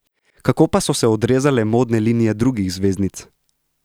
Kako pa so se odrezale modne linije drugih zvezdnic?